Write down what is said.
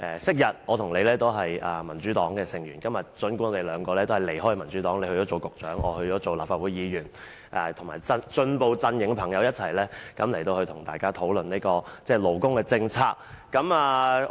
昔日，我和他都是民主黨成員，今天我們已經離開民主黨，他做了局長，我則做了立法會議員，很高興仍有機會與進步陣營的朋友一起討論勞工政策。